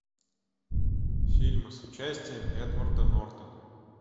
фильмы с участием эдварда нортона